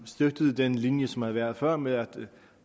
støttede den linje som der havde været før med at